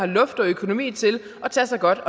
luft i økonomien til at tage sig godt